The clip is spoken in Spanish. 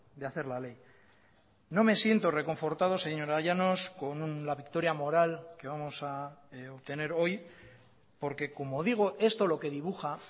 de hacer la ley no me siento reconfortado señora llanos con la victoria moral que vamos a obtener hoy porque como digo esto lo que dibuja